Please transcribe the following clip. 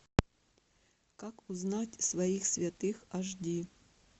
как узнать своих святых ашди